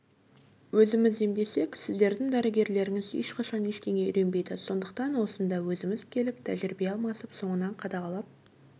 өзіміз емдесек сіздердің дәрігерлеріңіз ешқашан ештеңе үйренбейді сондықтан осында өзіміз келіп тәжірибе алмасып соңынан қадағалап